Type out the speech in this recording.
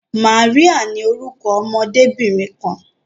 Maria ní orúkọ ọmọdebinrin kan.